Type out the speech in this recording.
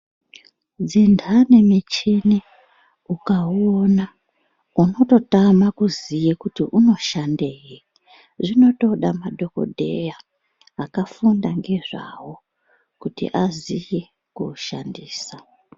Dzindani michini ukauona unototama kuziye kuti inoshandei zvinotoda madhokodheya akafunda nezvawo kuti aziye kuishandisa.